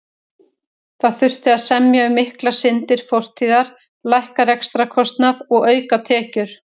Það þurfti að semja um miklar syndir fortíðar, lækka rekstrarkostnað og auka tekjur.